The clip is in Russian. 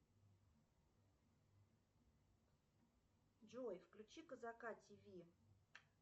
джой включи казака тв